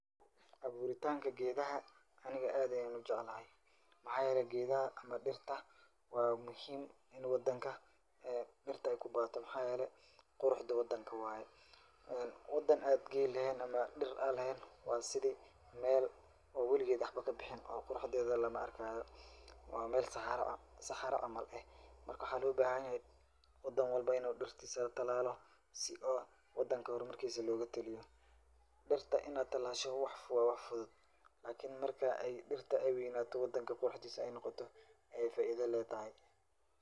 Abuuritaanka geedaha aniga aad ayaa u jeclahay. Maxaa yeelay geedaha ama dhirtawaa muhiim in wadanka dhirta ay ku badato. Maxaa yeelay, quruxda wadanka waay. Wadan aan geed leheen ama dhir aan leheen waa sidii meel oo weligeed waxba ka bixin oo quruxdeeda lama'arkaayo. Waa meel saxaro saxaro camal eh. Marka waxaa loo bahanyahay wadan walbo inuu dhirtiisa talaalo si oo wadanka hor markiisa loogu taliyo. Dhirta in aad talaasho waa wax fudud lakinin marka ay dhirta ay weynaato wadanka quruxdiisa ay noqoto ay faaida leedahay.